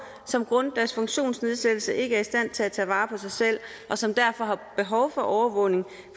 som grundet deres funktionsnedsættelse ikke er i stand til at tage vare på sig selv og som derfor har behov for overvågning